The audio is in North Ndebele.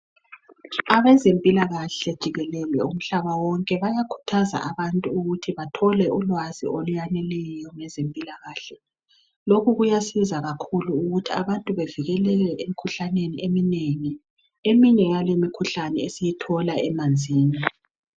Abezempilakahle jikelele umhlaba wonke bayakhuthaza abantu ukuthi bathole ulwazi oluyaneleyo ngezempilakahle, lokhu kuyasiza kakhulu ukuthi abantu bevikeleke emikhuhlaneni eminengi eminye yale imikhuhlane esiyithola emanzini